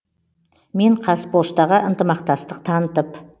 мен қазпоштаға ынтымақтастық танытып